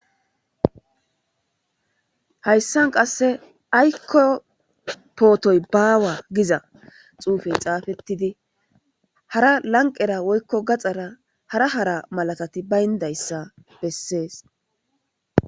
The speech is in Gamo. Hayssan qasse aykko pootoy baawa giza xuufey xaafettidi hara lanqera woykko gaxara hara hara malatati bayndayssa bessees.